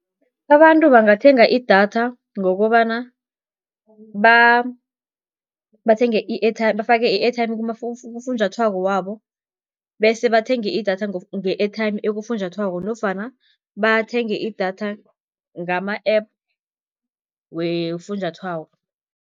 Abantu bangathenga idatha, ngokobana bathenge i-airtime bafake i-airtime kufunjathwako wabo, bese bathenge idatha nge-airtime ekufunjathwako nofana bathenge idatha ngama-app wefunjathwako.